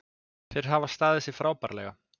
Þeir hafa staðið sig frábærlega